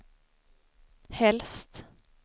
helst